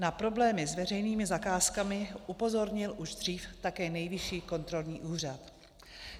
Na problémy s veřejnými zakázkami upozornil už dřív také Nejvyšší kontrolní úřad.